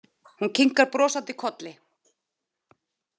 Hún kinkar brosandi kolli.